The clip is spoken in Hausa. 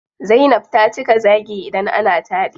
Zainab ta cika zaagi idan ana taɗi.